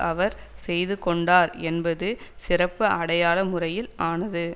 அவர் செய்து கொண்டார் என்பது சிறப்பு அடையாள முறையில் ஆனது